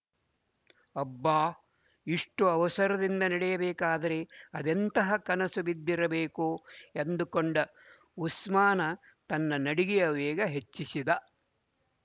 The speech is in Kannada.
ಅಬ್ಬಾ ಇಷ್ಟು ಅವಸರದಿಂದ ನಡೆಯಬೇಕಾದರೆ ಅದೆಂತಹ ಕನಸು ಬಿದ್ದಿರಬೇಕೋ ಎಂದುಕೊಂಡ ಉಸ್ಮಾನ ತನ್ನ ನಡಿಗೆಯ ವೇಗ ಹೆಚ್ಚಿಸಿದ